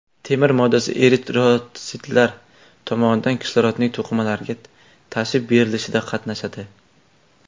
Temir moddasi eritrotsitlar tomonidan kislorodning to‘qimalarga tashib berilishida qatnashadi.